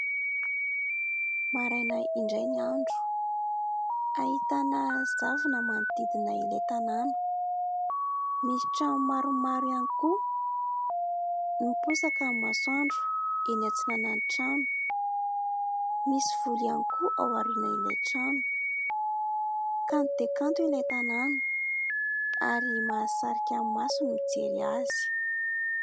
Maraina indray ny andro. Ahitana zavona manodidina ilay tanàna. Misy trano maromaro ihany koa. Miposaka ny masoandro eny antsinanan'ny trano. Misy vory ihany koa ao aorianan'ilay trano. Kanto dia kanto ilay tanàna ary mahasarika ny maso no mijery azy.